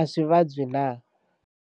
a swi vabyi na.